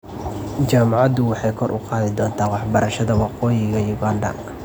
Jaamacaddu waxay kor u qaadi doontaa waxbarashada Waqooyiga Uganda.